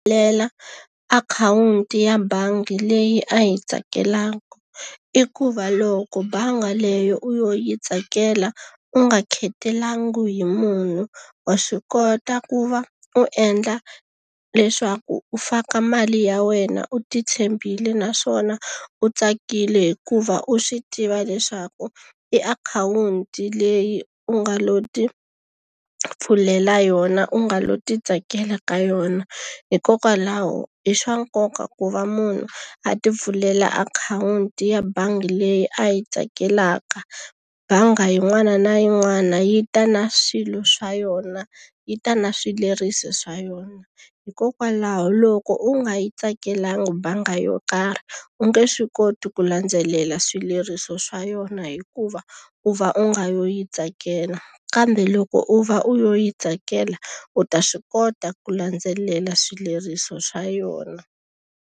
akhawunti ya bangi leyi a yi tsakelaka, i ku va loko bangi leyo u lo yi tsakela u nga khetelangi hi munhu, wa swi kota ku va u endla leswaku u faka mali ya wena u ti tshembile naswona u tsakile hikuva u swi tiva leswaku i akhawunti leyi u nga lo ti pfulela yona, u nga lo ti tsakela ka yona. Hikokwalaho i swa nkoka ku va munhu a ti pfulela akhawunti ya bangi leyi a yi tsakelaka. Bangi yin'wana na yin'wana yi ta na swilo swa yona, yi ta na swileriso swa yona. Hikokwalaho loko u nga yi tsakelaka bangi yo karhi, u nge swi koti ku landzelela swileriso swa yona hikuva u va u nga lo yi tsakel. Kambe loko u va u lo yi tsakela, u ta swi kota ku landzelela swileriso swa yona.